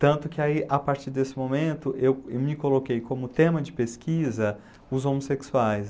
Tanto que aí, a partir desse momento eu me coloquei como tema de pesquisa os homossexuais.